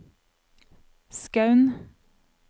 Skaun